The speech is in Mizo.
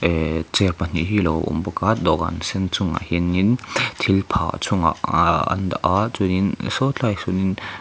ehh chair pahnih hi a lo awm bawka dawhkan sen chungah hianin thil phah chungah an daha chuanin sawtlaiah sawnin.